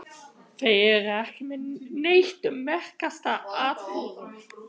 Þeir eru ekki með neitt um merkasta atburð